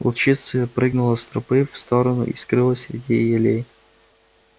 волчица прыгнула с тропы в сторону и скрылась среди елей